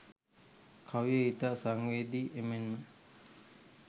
කවිය ඉතා සංවේදී එමෙන්ම